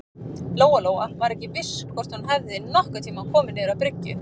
Lóa-Lóa var ekki viss hvort hún hefði nokkurn tíma komið niður á bryggju.